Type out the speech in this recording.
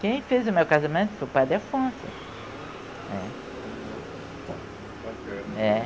Quem fez o meu casamento foi o padre Afonso.